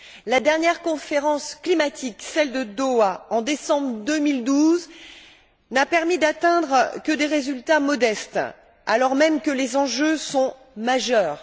La dernière conférence climatique, celle de Doha, en décembre 2012, n'a permis d'atteindre que des résultats modestes, alors même que les enjeux sont majeurs.